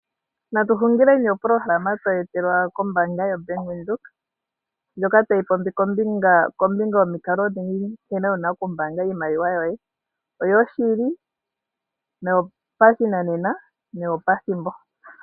Natuhungileni opolohalama toyi etelwa kombaanga yoBank Windhoek, ndjoka tayi popi kombinga yomikalo odhindji dha nkene wu na okumbaanga iimaliwa yoye. Oyo shili, yopashinanena noyo pethimbo.